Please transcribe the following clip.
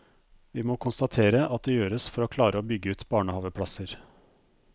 Vi må konstatere at det gjøres for å klare å bygge ut barnehaveplasser.